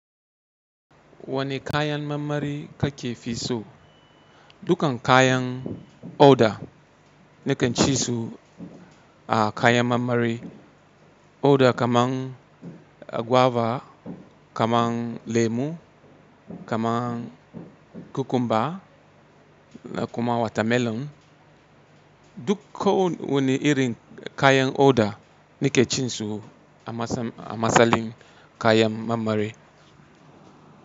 Wane kayan marmari kake fi so? Dukkan kayan oda nikan ci su a kayan marmari. Oda kaman guava, kaman lemu, kaman cucumber kuma watermelon. Duk wani irin kayan oda nake cin su a masalin kayan marmari.